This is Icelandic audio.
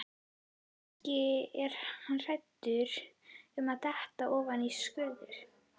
Kannski er hann hræddur um að detta ofan í skurð.